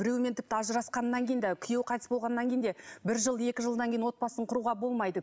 біреумен тіпті ажырасқаннан кейін де күйеуі қайтыс болғаннан кейін де бір жыл екі жылдан кейін отбасын құруға болмайды